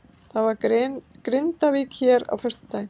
Það er Grindavík hér á föstudaginn.